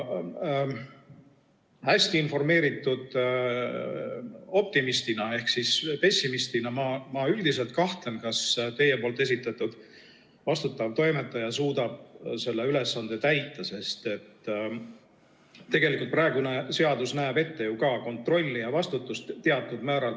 Hästi informeeritud optimistina ehk pessimistina ma üldiselt kahtlen, kas teie esitatud vastutav toimetaja suudab selle ülesande täita, sest tegelikult ka praegune seadus näeb ju ette kontrolli ja vastutuse teatud määral.